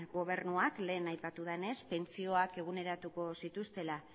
gobernuak lehen aipatu dudanez pentsioak eguneratuko zituztela